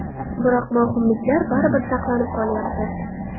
Biroq mavhumliklar baribir saqlanib qolyapti.